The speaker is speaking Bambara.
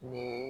Nin ye